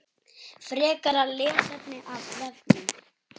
Frekara lesefni af vefnum